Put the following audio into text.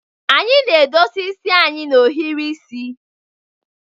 Anyị na-edosa isi anyị na-ohiri isi.